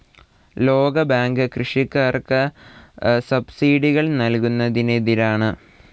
ലോകബാങ്ക് കൃഷിക്കാർക്ക് സബ്സിഡികൾ നൽകുന്നതിനെതിരാണ്.